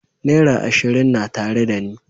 Naira ashirin na tare dani.